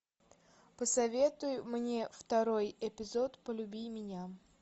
посоветуй мне второй эпизод полюби меня